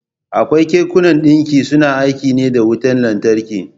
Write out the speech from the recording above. Akwai kekunan ɗinki suna aiki ne da wutan lantarki.